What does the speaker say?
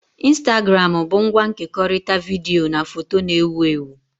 Ịnstagramụ bu ngwa nkekọrịta vidiyo na foto na-ewu ewu